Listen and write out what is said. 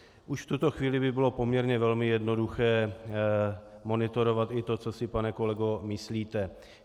Už v tuto chvíli by bylo poměrně velmi jednoduché monitorovat i to, co si, pane kolego, myslíte.